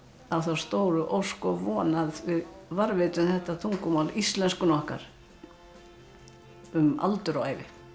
á þá stóru ósk og von að við varðveitum þetta tungumál íslenskuna okkar um aldur og ævi